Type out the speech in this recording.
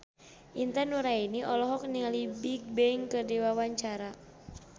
Intan Nuraini olohok ningali Bigbang keur diwawancara